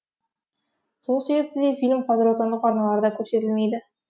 сол себепті де фильм қазір отандық арналарда көрсетілмейді